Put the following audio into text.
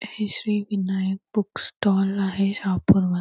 हे Shri Vinayak book stall आहे शहापूर म--